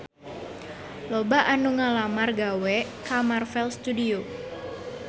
Loba anu ngalamar gawe ka Marvel Studios